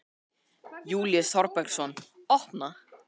Júlíus Þorbergsson: Opna?